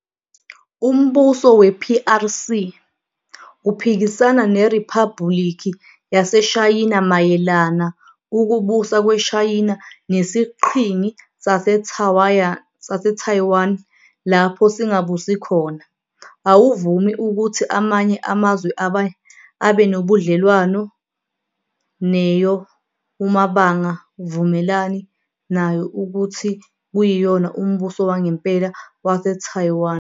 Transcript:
Umbuso we-PRC uphikisana neRiphabuliki yaseShayina mayelana ukubusa kweShayina nesiqhingi saseTaiwan lapho singabusi khona. Awuvumi ukuthu amanye amazwe abanebudlelwane neyo umabanga vumelani nayo ukuthi kuyiyona umbuso wangempela waseTaiwan.